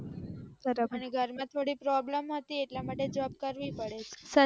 અને ઘર માં possision હતી એટલા માટે job કરવી પડે